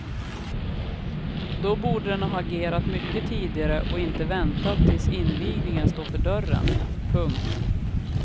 Då borde den ha agerat mycket tidigare och inte väntat tills invigningen står för dörren. punkt